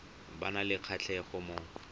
ba nang le kgatlhego mo